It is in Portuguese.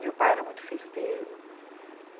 Meu pai era muito festeiro...